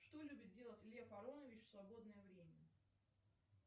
что любит делать лев аронович в свободное время